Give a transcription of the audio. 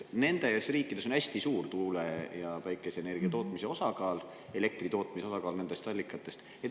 Nendes riikides on hästi suur tuule- ja päikeseenergia tootmine, elektri tootmise osakaal nendest allikatest on suur.